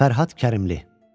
Fərhad Kərimli.